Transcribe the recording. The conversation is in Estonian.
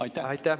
Aitäh!